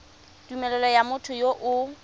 tumelelo ya motho yo o